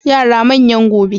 Yara manyan gobe.